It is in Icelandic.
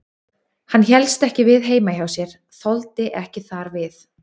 Hann hélst ekki við heima hjá sér, þoldi ekki þar við.